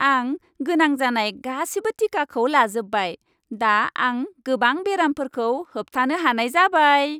आं गोनां जानाय गासिबो टिकाखौ लाजोबबाय। दा आं गोबां बेरामफोरखौ होबथानो हानाय जाबाय।